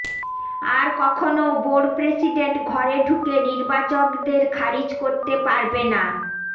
আর কখনও board president ঘরে ঢুকে নির্বাচকদের খারিজ করতে পারবে না